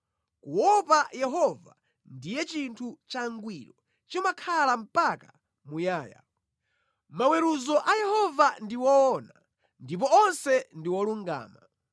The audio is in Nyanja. Kuopa Yehova ndiye chinthu changwiro, chimakhala mpaka muyaya. Maweruzo a Yehova ndi owona ndipo onse ndi olungama;